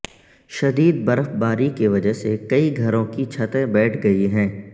شدید برفباری کی وجہ سے کئی گھروں کی چھتیں بیٹھ گئی ہیں